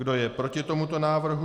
Kdo je proti tomuto návrhu?